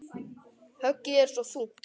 Höggið er svo þungt.